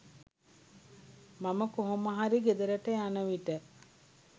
මම කොහොමහරි ගෙදරට යන විට